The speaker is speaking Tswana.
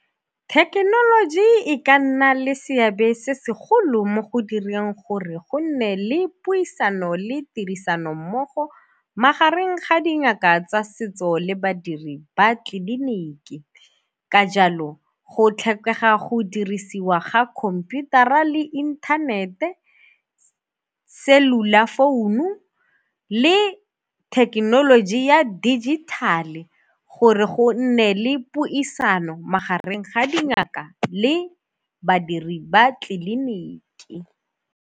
Thekenoloji e ka nna le seabe se segolo mo go direng gore gonne le puisano le tirisano mmogo magareng ga dingaka tsa setso le badiri ba tleliniki. Ka jalo go tlhokega go dirisiwa ga khomputara le inthanete cellular founu le thekenoloji ya dijithale gore go nne le puisano magareng ga dingaka le badiri ba tleliniki.